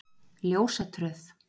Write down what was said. Ljósatröð